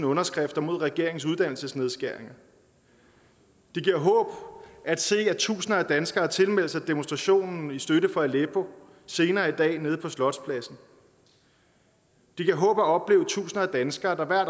underskrifter mod regeringens uddannelsesnedskæringer det giver håb at se at tusinder af danskere har tilmeldt sig demonstrationen i støtte for aleppo senere i dag nede på slotspladsen det giver håb at opleve tusinder af danskere der hver